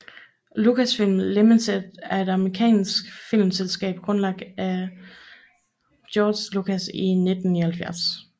Lucasfilm Limited er et amerikansk filmselskab grundlagt af George Lucas i 1971